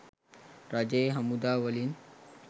රජයේ හමුදා වලින්.